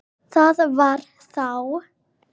Það var þá.